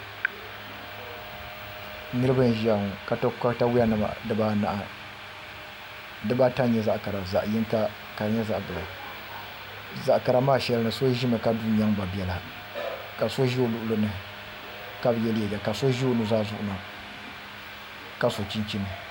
We&niraba n ʒiya ŋo ka to katawiya nim dibanahi dibata n nyɛ zaɣ kara zaɣ yinga ka di nyɛ zaɣ biɛla zaɣ kara maa shɛli ni so ʒimi ka du n nyɛnba biɛla ka so ʒi o luɣuli ni ka bi yɛ liiga ka so ʒi o nuzaa zuɣu ka so chinchin